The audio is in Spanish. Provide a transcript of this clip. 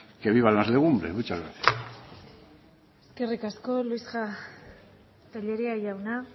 que vivan las legumbres muchas gracias eskerrik asko tellería jauna